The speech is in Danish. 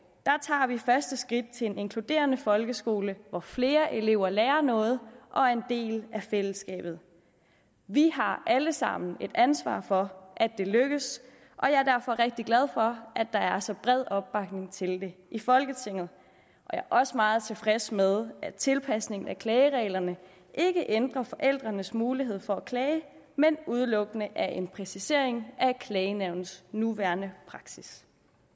tager vi første skridt til en inkluderende folkeskole hvor flere elever lærer noget og er en del af fællesskabet vi har alle sammen et ansvar for at det lykkes og jeg er derfor rigtig glad for at der er så bred opbakning til det i folketinget jeg er også meget tilfreds med at tilpasningen af klagereglerne ikke ændrer forældrenes mulighed for at klage men udelukkende er en præcisering af klagenævnets nuværende praksis